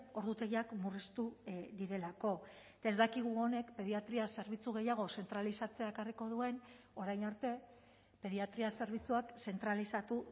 ordutegiak murriztu direlako eta ez dakigu honek pediatria zerbitzu gehiago zentralizatzea ekarriko duen orain arte pediatria zerbitzuak zentralizatu